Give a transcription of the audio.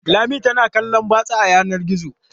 Lami tana kallon batsa a yanar gizo.